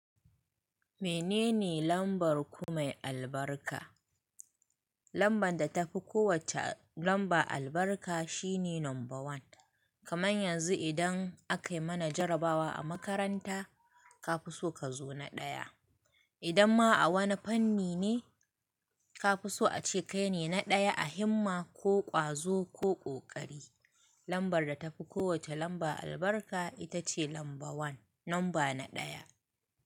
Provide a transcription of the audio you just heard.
Menene lambar ku mai albarka? Lambar da tafi kowacce lamba albarka shine number one. Kamar yanzu idan aka mana jarabawa a makaranta, ka fi so ka zo na ɗaya. Idan ma a wani fanni ne, ka fi so ace kai ne na ɗaya a himma ko ƙwazo ko ƙoƙari. Lambar da tafi kowacce lamba albarka ita ce lamba one, lamba na ɗaya.